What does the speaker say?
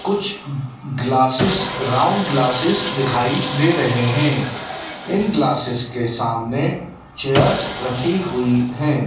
कुछ glasses round glasses दिखाई दे रहे हैं। इन ग्लासेस के सामने चेयर्स रखी हुई है।